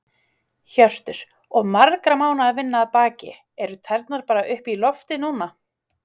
Hjörtur: Og margra mánaða vinna að baki, eru tærnar bara upp í loft núna?